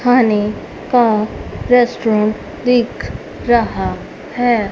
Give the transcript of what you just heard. खाने का रेस्टोरेंट दिख रहा है।